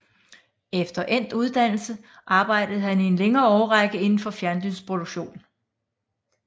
Efter endt uddannelse arbejde han i en længere årrække inden for fjernsynsproduktion